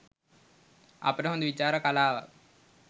අපට හොඳ විචාර කලාවක්